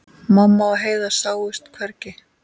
Mamma og Heiða sáust hvergi.